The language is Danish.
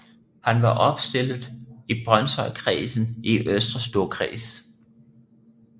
Han var opstillet i Brønshøjkredsen i Østre Storkreds